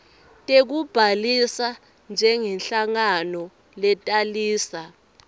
tekubhalisa njengenhlangano letalisa